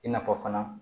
I n'a fɔ fana